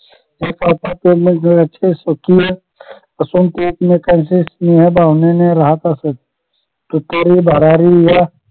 चे स्वप्न असून प्रयत्न स्नेह भावनेने राहत असत तुतारी भरारी या